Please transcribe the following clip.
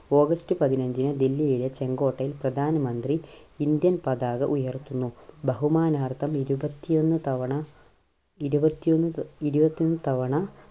August പതിനഞ്ചിന് ദില്ലിയിലെ ചെങ്കോട്ടയിൽ പ്രധാനമന്ത്രി ഇന്ത്യൻ പതാക ഉയർത്തുന്നു. ബഹുമാനാർത്ഥം ഇരുപത്തിയൊന്ന് തവണ ഇരുപത്തിയൊന്ന്, ഇരുപത്തിയൊന്ന് തവണ